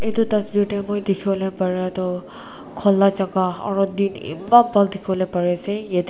etu tasvir moi dekhivo lae para toh khula jaka aru din eman bhal dekhivo lae pari ase.